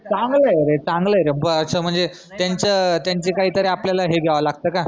चांगलंय रे चांगलंय रे ब अश म्हनजे त्यांचं त्यांचे काहीतरी आपल्याला हे घ्याव लागत का?